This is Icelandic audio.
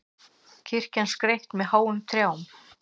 Kirkjan skreytt með háum trjám